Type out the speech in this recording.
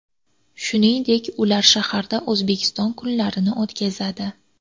Shuningdek, ular shaharda O‘zbekiston kunlarini o‘tkazadi.